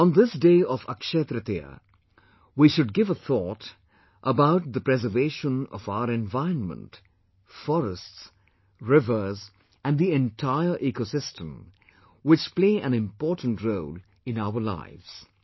On this day of Akshaya Tritiya, we should give a thought about the preservation of our environment, forests, rivers and the entire ecosystem, which play an important role in our lives